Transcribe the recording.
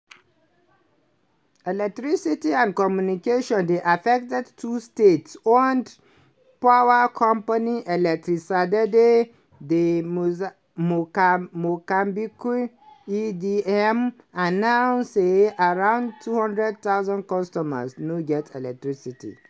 electricity and communications dey affected too state-owned power company electricidade de moçambique (edm) announce say around 200000 customers no get electricity.